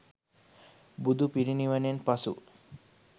බුදු පිරිනිවනින් පසු